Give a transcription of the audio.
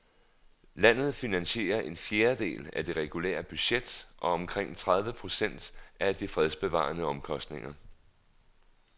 Landet finansierer en fjerdedel af det regulære budget og omkring tredive procent af de fredsbevarende omkostninger.